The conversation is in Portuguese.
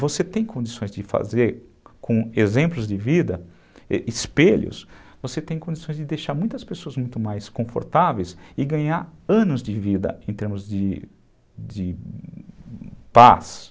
Você tem condições de fazer, com exemplos de vida, espelhos, você tem condições de deixar muitas pessoas muito mais confortáveis e ganhar anos de vida em termos de de paz.